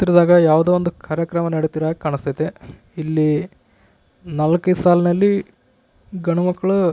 ಚಿತ್ರದಾಗ ಯಾವೂದೋವೊಂದು ಕಾರ್ಯಕ್ರಮ ನೆಡೀತ ಇರೋ ಹಾಗೆ ಕಾಣಿಸ್ತಾ ಐತೆ ಇಲ್ಲಿ ನಾಲ್ಕೈದು ಸಾಲನಲ್ಲಿ ಗಂಡ್ಮಕ್ಳು --